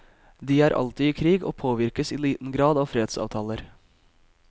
De er alltid i krig og påvirkes i liten grad av fredsavtaler.